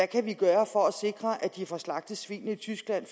kan gøre for at sikre at de ikke får slagtet svinene i tyskland